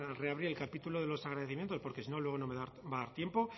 reabrir el capítulo de los agradecimientos porque si no luego no me va a dar tiempo